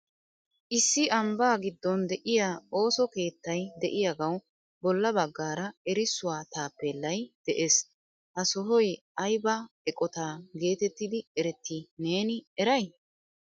Issi ambba giddon de'iyaa ooso keettay de'iyaagawu bolla baggaara erissuwa taapelay de'ees. Ha sohoy aybba eqqota getettidi eretti neeni eray?